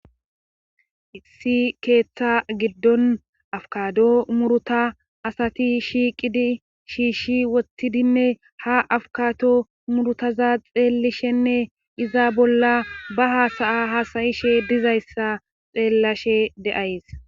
issi keeththa giddon afkado muruta asati shiiqidi shiishshi wottidinne ha afkato murutaza xeellishenne iza bolla ba haasaya hasayishe dizayssa xeellashe de7ays